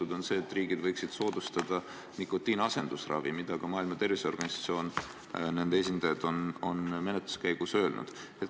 See on see, et riigid võiksid soodustada nikotiiniasendusravi, mida ka Maailma Terviseorganisatsiooni esindajad on menetluse käigus öelnud.